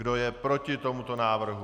Kdo je proti tomuto návrhu?